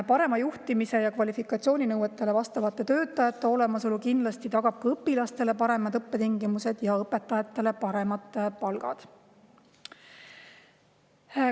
Parem juhtimine ja kvalifikatsiooninõuetele vastavate töötajate olemasolu tagab kindlasti õpilastele paremad õppetingimused ja õpetajatele paremad palgad.